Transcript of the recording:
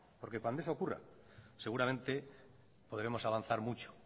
porque cuando eso ocurra seguramente podremos avanzar mucho